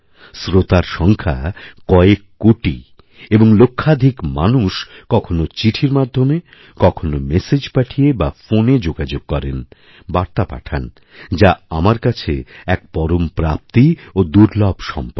শ্রোতার সংখ্যা কয়েককোটি এবং লক্ষাধিক মানুষ কখনও চিঠি মাধ্যমে কখনও মেসেজ পাঠিয়ে বা ফোনে যোগাযোগ করেনবার্তা পাঠান যা আমার কাছে এক পরম প্রাপ্তি ও দুর্লভ সম্পদ